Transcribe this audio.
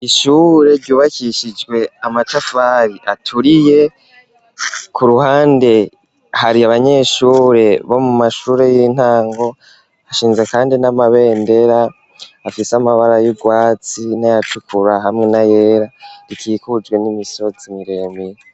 Ishure ryubakishijwe amatafari aturiye, ku ruhande hari abanyeshure bo mu mashure y'intango hashinze kandi n'amabendera afise amabara y'urwatsi n'ayatukura hamwe na yera rikikujwe n'imisozi miremire.